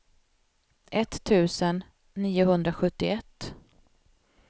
etttusen niohundrasjuttioett